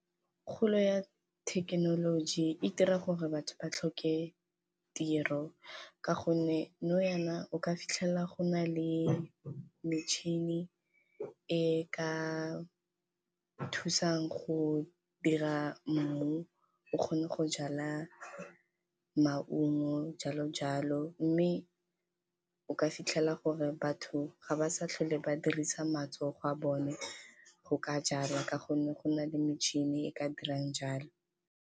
Kgolo ya thekenoloji e dira gore batho ba tlhoke tiro ka gonne nou jaana o ka fitlhela go na le metšhini, e ka thusang go dira mmu o kgone go jala maungo jalo jalo. Mme o ka fitlhela gore batho ga ba sa tlhole ba dirisa matsogo a bone go ka jala ka gonne go na le metšhini e ka dirang jalo.